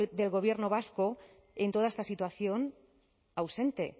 del gobierno vasco en toda esta situación ausente